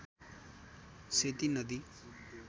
सेती नदी